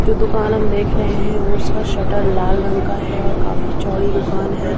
जो दुकान हम देख रहे हैं उसका शटर लाल रंग का है और काफी चौड़ी दुकान हैं।